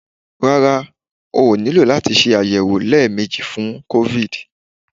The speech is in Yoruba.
Rárá, o ò nílò láti ṣe àyẹ̀wò léèmejì fún COVID.